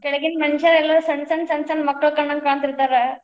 ಕೆಳಗಿನ ಮನಷರೆಲ್ಲಾ, ಸಣ್ಣ ಸಣ್ಣ ಸಣ್ಣ ಸಣ್ಣ ಮಕ್ಕಳ್ ಕಂಡಂಗ್ ಕಾಣ್ತಿರ್ತಾರ.